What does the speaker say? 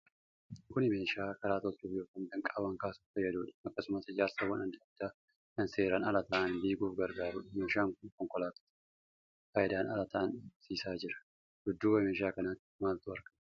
Kun meeshaa karaa tolchuuf yookiin danqaawwan kaasuuf fayyaduudha. Akkasumas ijaarsawwan adda addaa kan seeraan alaa ta'an diiguf gargaarudha. Meeshaan kun konkolaattota faayidaan ala ta'an dhabmsiisaa jira. Dudduuba meeshaa kanaatti maaltu argama?